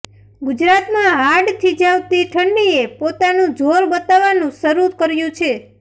ગુજરાતમાં હાડ થીજાવતી ઠંડીએ પોતાનું જોર બતાવવાનું શરુ કર્યું છે